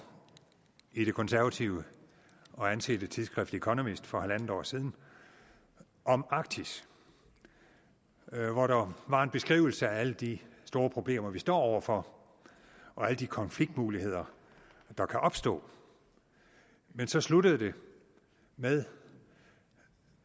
i det konservative og ansete tidsskrift economist for en en halv år siden om arktis hvor der var en beskrivelse af alle de store problemer vi står over for og alle de konfliktmuligheder der kan opstå men så sluttede det med